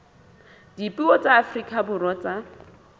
dipuo tsa afrika borwa tsa